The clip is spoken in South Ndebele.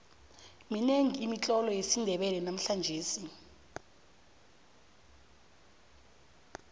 minengi imitlolo yesindebele namhlangesi